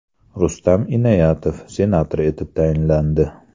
Rustam Inoyatov senator etib tayinlandi.